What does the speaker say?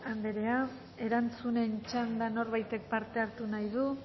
anderea erantzunen txanda norbaitek parte hartu nahi du